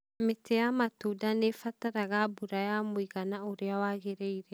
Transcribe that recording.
mĩtĩ ya matunda nĩ ĩbataraga mbura ya mũigana ũrĩa wagĩrĩire.